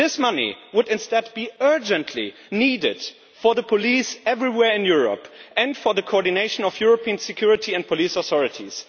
This money is instead urgently needed for the police everywhere in Europe and for the coordination of European security and police authorities.